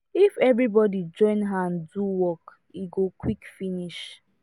if everybody join hand do work e go quick finish